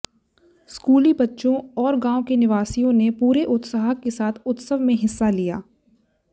स्कूली बच्चों और गांव के निवासियों ने पूरे उत्साह के साथ उत्सव में हिस्सा लिया